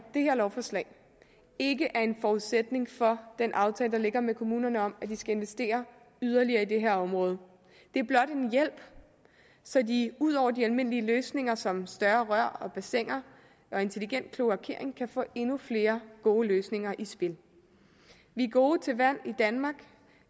det her lovforslag ikke er forudsætning for den aftale der ligger med kommunerne om at de skal investere yderligere i det her område det er blot en hjælp så de ud over de almindelige løsninger som større rør og bassiner og intelligent kloakering kan få endnu flere gode løsninger i spil vi er gode til vand i danmark